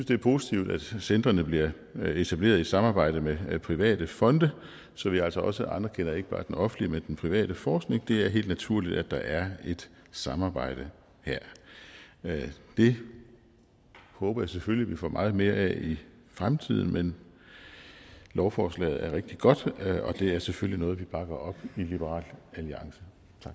det er positivt at centrene bliver etableret i samarbejde med private fonde så vi altså også anerkender ikke bare den offentlige men også den private forskning det er helt naturligt at der er et samarbejde her det håber jeg selvfølgelig at vi får meget mere af i fremtiden men lovforslaget er rigtig godt og det er selvfølgelig noget vi bakker op i liberal alliance